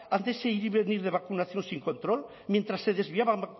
ante ese ir y venir de vacunación sin control mientras se desviaban